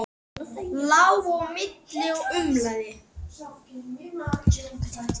Lá á milli og umlaði.